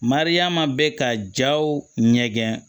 Mariyamu bɛ ka jaw ɲɛgɛn